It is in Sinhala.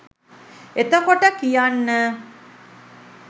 එතකොට කියන්න